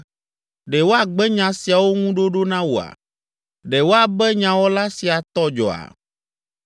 “Ɖe woagbe nya siawo ŋu ɖoɖo na wòa? Ɖe woabe nyawɔla sia tɔ dzɔa?